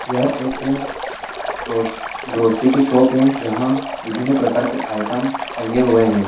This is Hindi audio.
या एक ग्रोस ग्रोसरी की शॉप है जहा विभिन्न पार्कर के आइटम टंगे हुए है।